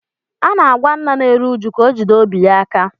A na-agwa nna na-eru uju ka o jide obi ya aka